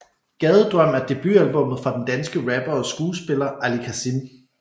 Gadedrøm er debutalbummet fra den danske rapper og skuespiller Ali Kazim